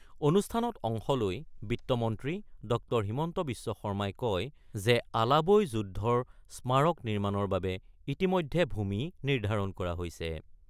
অনুষ্ঠানত অংশ লৈ বিত্তমন্ত্ৰী ড০ হিমন্ত বিশ্ব শৰ্মাই কয় যে, আলাবৈ যুদ্ধৰ স্মাৰক নিৰ্মাণৰ বাবে ইতিমধ্যে ভূমি নিৰ্ধাৰণ কৰা হৈছে।